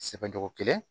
Sɛbɛ cogo kelen